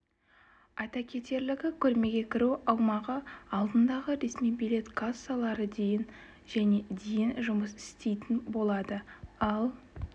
айта кетерлігі көрмеге кіру аумағы алдындағы ресми билет кассалары дейін және дейін жұмыс істейтін болады ал